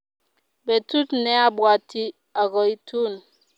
Betut neabwoti akoi tun